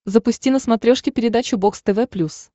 запусти на смотрешке передачу бокс тв плюс